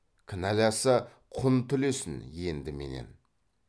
кінәласа құн түлесін енді менен